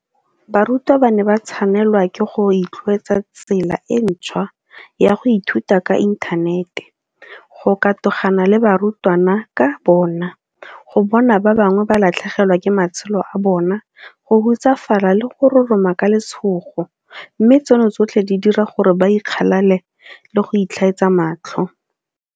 Barutwana ba ne ba tshwanelwa ke go itlwaetsa tsela e ntšhwa ya go ithuta ka inthanete, go katogana le barutwana ka bona, go bona ba bangwe ba latlhegelwa ke matshelo a bona, go hutsafala le go roroma ka letshogo, mme tseno tsotlhe di dira gore ba ikgalale le go itlhaetsa matlho.